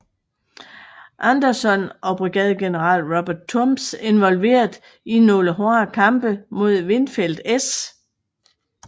Anderson og brigadegeneral Robert Toombs involveret i nogle hårde kampe mod Winfield S